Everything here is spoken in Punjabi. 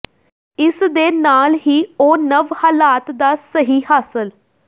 ਇਸ ਦੇ ਨਾਲ ਹੀ ਉਹ ਨਵ ਹਾਲਾਤ ਦਾ ਸਹੀ ਹਾਸਲ